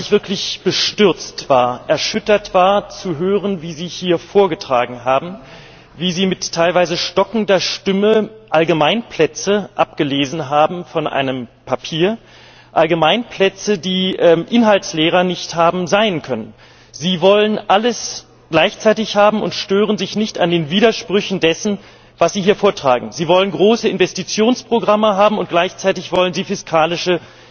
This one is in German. Herr Präsident, Herr Kommissar Katainen! Ich muss sagen, dass ich wirklich bestürzt war, erschüttert war, zu hören, wie Sie hier vorgetragen haben Wie Sie mit teilweise stockender Stimme Allgemeinplätze abgelesen haben von einem Papier, Allgemeinplätze, die inhaltsleerer nicht haben sein können. Sie wollen alles gleichzeitig haben und stören sich nicht an den Widersprüchen dessen, was Sie hier vortragen. Sie wollen große Investitionsprogramme haben, und gleichzeitig wollen Sie fiskalische